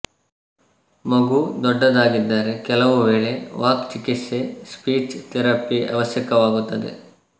ಮಗು ದೊಡ್ಡದಾಗಿದ್ದರೆ ಕೆಲವು ವೇಳೆ ವಾಕ್ ಚಿಕಿತ್ಸೆ ಸ್ಪೀಚ್ ಥೆರಪಿ ಅವಶ್ಯಕವಾಗುತ್ತದೆ